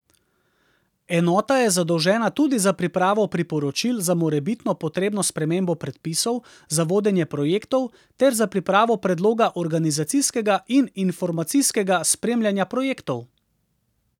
Enota je zadolžena tudi za pripravo priporočil za morebitno potrebno spremembo predpisov, za vodenje projektov ter za pripravo predloga organizacijskega in informacijskega spremljanja projektov.